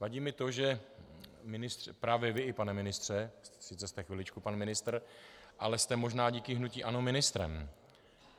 Vadí mi to, že právě i vy, pane ministře, sice jste chviličku pan ministr, ale jste možná díky hnutí ANO ministrem.